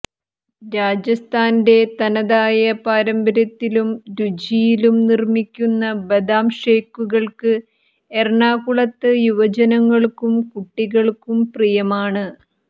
രാജസ്ഥാന്റെ തനതായ പാരമ്പര്യത്തിലും രുചിയിലും നിർമ്മിക്കുന്ന ബദാം ഷേക്കുകൾക്ക് എറണാകുളത്ത് യുവജനങ്ങൾക്കും കുട്ടികൾക്കും പ്രിയമാണ്